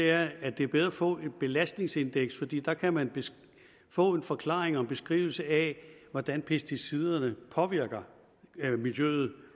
er at det er bedre at få et belastningsindeks fordi så kan man få en forklaring på og en beskrivelse af hvordan pesticiderne påvirker miljøet